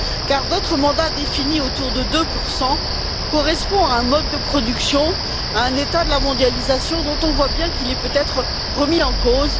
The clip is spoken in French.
En effet, votre mandat défini autour de 2 correspond à un mode de production, à un état de la mondialisation dont on voit bien qu'il est peut être remis en cause.